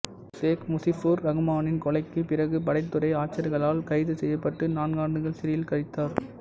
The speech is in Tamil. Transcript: சேக் முசிபுர் இரகுமானின் கொலைக்குப் பிறகு படைத்துறை ஆட்சியாளர்களால் கைது செய்யப்பட்டு நான்காண்டுகள் சிறையில் கழித்தார்